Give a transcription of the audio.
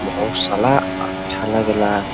बहुत सला अच्छा लागेला।